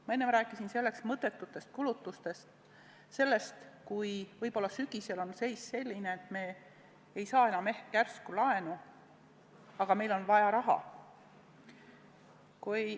Ma enne rääkisin mõttetutest kulutustest, sellest, et võib-olla sügisel on seis selline, et me ei saa enam odavat laenu, aga meil on raha vaja.